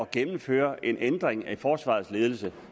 gennemføre en ændring af forsvarets ledelse